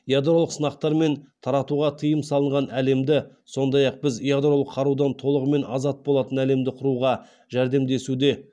ядролық сынақтар мен таратуға тыйым салынған әлемді сондай ақ біз ядролық қарудан толығымен азат болатын әлемді құруға жәрдемдесуде